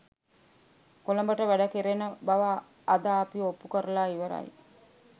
කොළඹට වැඩ කෙරෙන බව අද අපි ඔප්පු කරලා ඉවරයි